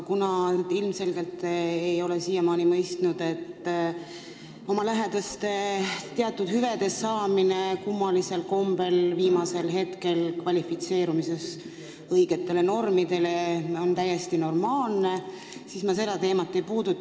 Kuna te ei ole siiamaani ilmselgelt mõistnud, et see, kui teie lähedased saavad teatud hüvesid, kummalisel kombel viimasel hetkel kvalifitseerudes õigetele normidele vastamisel, ei ole täiesti normaalne, siis ma seda teemat ei puuduta.